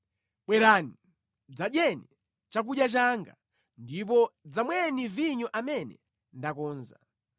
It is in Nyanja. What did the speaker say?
“Bwerani, dzadyeni chakudya changa ndipo dzamweni vinyo amene ndakonza.